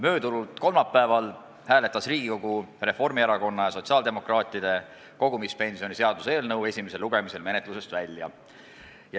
Möödunud kolmapäeval hääletas Riigikogu Reformierakonna ja sotsiaaldemokraatide fraktsiooni kogumispensioni seaduse eelnõu esimesel lugemisel menetlusest välja.